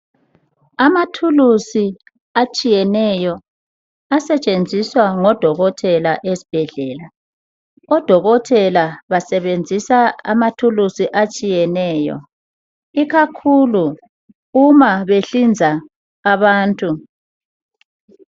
Amathulusi atshiyeneyo asetshenziswa ngodokotela ezibhedlela, odokotela basebenzisa amathulusi atshiyeneyo ikakhulu ma behlinza abantu.